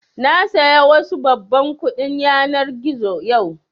Na saya wasu babban kuɗin yanar gizo yau